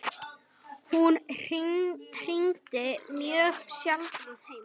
Hún hringdi mjög sjaldan heim.